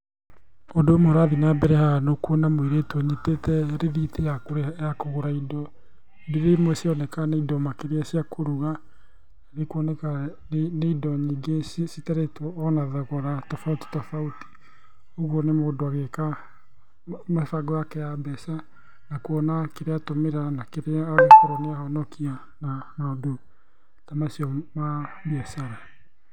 Ũndũ ũmwe ũrathiĩ na mbere haha nĩ ũkuona mũirĩtu ũnyitĩte rĩthiti ya kũrĩha ya kũgũra indo, indo irĩa imwe cironeka nĩ indo makĩria cia kũruga. Nĩ ikuoneka nĩ indo nyingĩ citarĩtwo ona thogora tofauti tofauti. Ũguo níĩ mũndũ agĩka mĩbango yake ya mbeca, na kuona kĩrĩa atũmĩra na kĩrĩa angĩkorwo nĩ ahonokia, na maũndũ ta macio ma biacara.